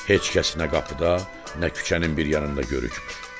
Heç kəs nə qapıda, nə küçənin bir yanında da.